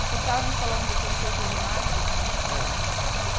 O senhor estava me falando do conceito de marketing. Ah.